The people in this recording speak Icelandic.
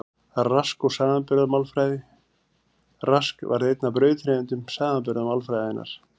Rask og samanburðarmálfræðin Rask varð einn af brautryðjendum samanburðarmálfræðinnar.